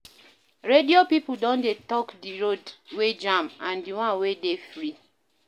Radio pipo don dey tok di road wey jam and di one wey dey free.